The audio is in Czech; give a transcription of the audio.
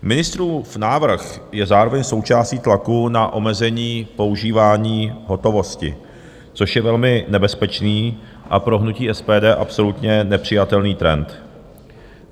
Ministrův návrh je zároveň součástí tlaku na omezení používání hotovosti, což je velmi nebezpečný a pro hnutí SPD absolutně nepřijatelný trend.